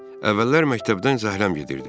Əvvəllər məktəbdən zəhrəm gedirdi.